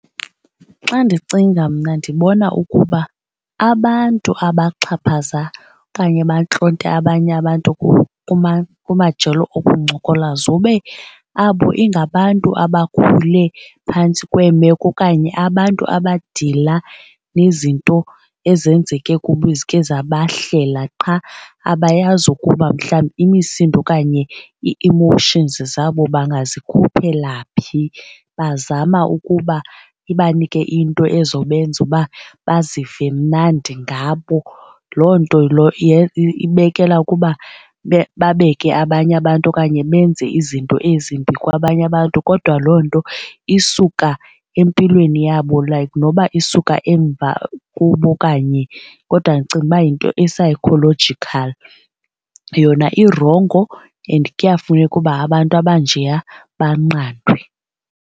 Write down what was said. Xa ndicinga mna ndibona ukuba abantu abaxhaphaza okanye abantlonta abanye abantu kumajelo okuncokola zobe abo ingabantu abakhule phantsi kweemeko okanye abantu abadila nezinto ezenzeke kubo ezike zabahlela qha abayazi ukuba mhlawumbi imisindo okanye i-emotions zabo bangazikhuphela phi. Bazama ukuba ibanike into ezobenza uba bazive mnandi ngabo loo nto ibekela ukuba babeke abanye abantu okanye benze izinto ezimbi kwabanye abantu kodwa loo nto isuka empilweni yabo like noba isuka emva kubo okanye kodwa ndicinga uba yinto e-psychological. Yona irongo and kuyafuneka uba abantu abanjeya banqandwe.